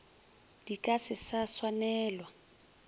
di ka se sa swanelwa